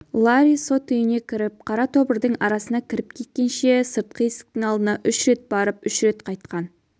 ларри сот үйіне кіріп қара тобырдың арасына кіріп кеткенше сыртқы есіктің алдына үш рет барып үш рет қайтқан